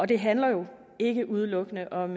det handler jo ikke udelukkende om